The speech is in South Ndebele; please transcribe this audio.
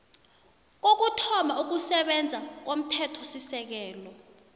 kokuthoma ukusebenza komthethosisekelo